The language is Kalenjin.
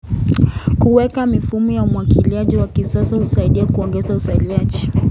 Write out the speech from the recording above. Kuweka mifumo ya umwagiliaji wa kisasa husaidia kuongeza uzalishaji.